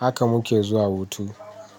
Haka muke zuwa hutu.